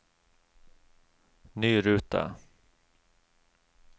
ny rute